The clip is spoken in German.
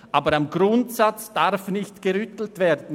Aber am Grundsatz darf nicht gerüttelt werden.